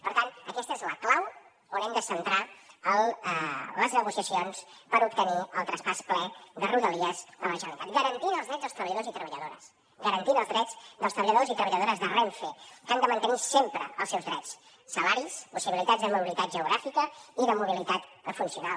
per tant aquesta és la clau on hem de centrar les negociacions per obtenir el traspàs ple de rodalies a la generalitat garantint els drets dels treballadors i treballadores garantint els drets dels treballadors i treballadores de renfe que han de mantenir sempre els seus drets salaris possibilitats de mobilitat geogràfica i de mobilitat funcional